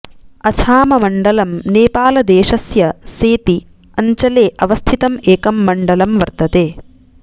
अछाममण्डलम् नेपालदेशस्य सेती अञ्चले अवस्थितं एकं मण्डलं वर्तते